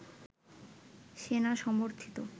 সেনা সমর্থিত